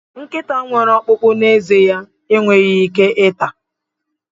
Nkịta nwere ọkpụkpụ n'ezé ya enweghị ike ata.